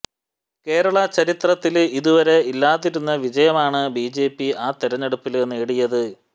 കേരള ചരിത്രത്തില് ഇതുവരെ ഇല്ലാതിരുന്ന വിജയമാണ് ബി ജെ പി ആ തെരഞ്ഞെടുപ്പില് നേടിയത്